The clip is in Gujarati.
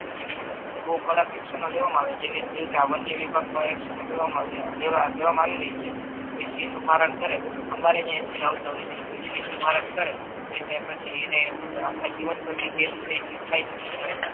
ટૂંક મા બહુ કડક એક્શનો લેવામા આવે જેવી રીતે આ વન્ય વિભાગો મા એક્શનો લેવા લેવ લેવામા આવી રહી છે પછી કોઈ સિંહ નુ મરણ કરે અમારે જ અહિયા સિંહ આવતા હોય છે તો ઈ કોઈ સિંહ નુ મરણ કરે તો એને પછી એને આખા જીવન ભર ની કેદી કેદ થાઈ શકે છે એમ